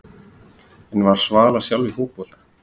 En var Svala sjálf í fótbolta?